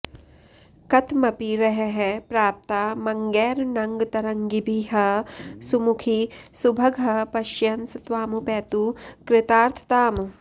कथमपि रहः प्राप्तामङ्गैरनङ्गतरङ्गिभिः सुमुखि सुभगः पश्यन्स त्वामुपैतु कृतार्थताम्